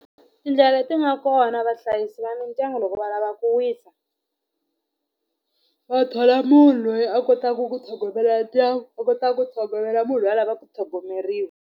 Tindlela leti nga kona vahlayisi va mindyangu loko va lava ku wisa va thola munhu loyi a kotaka ku tlhogomela ndyangu a kotaka ku tlhogomela munhu loyi a lava ku tlhogomeriwa.